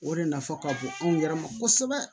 O de nafa ka bon anw yɛrɛ ma kosɛbɛ